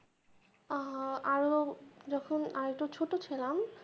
আরও যখন আর একটু ছোট ছিলাম।